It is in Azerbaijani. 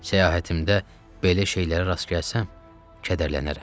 səyahətimdə belə şeylərə rast gəlsəm, kədərlənərəm.